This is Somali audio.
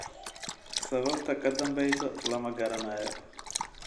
Sababta ka dambeysa lama garanayo.